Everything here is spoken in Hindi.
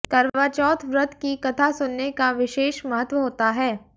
करवा चौथ व्रत की कथा सुनने का विशेष महत्व होता है